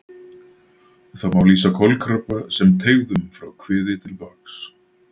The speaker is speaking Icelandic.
Það má lýsa kolkrabba sem teygðum frá kviði til baks.